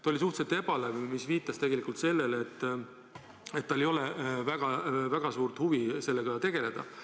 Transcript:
Ta oli suhteliselt ebalev, mis viitas sellele, et tal ei ole väga suurt huvi sellega tegeleda.